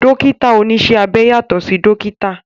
Dókítà oníṣẹ́ abẹ yàtọ̀ sí dókítà